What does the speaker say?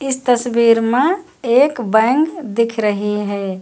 इस तस्वीर में एक बैंक दिख रही है।